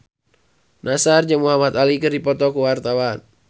Nassar jeung Muhamad Ali keur dipoto ku wartawan